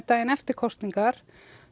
daginn eftir kosningar